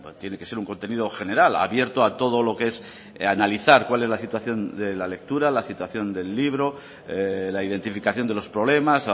tiene que ser un contenido general abierto a todo lo que es analizar cuál es la situación de la lectura la situación del libro la identificación de los problemas